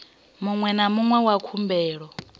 muṅwe na muṅwe wa khumbelo